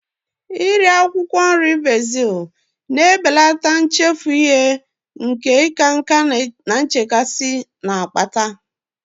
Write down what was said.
Iri akwụkwọ nri bezil na-ebelata nchefu ihe nke ịka nká na nchekasị na-akpata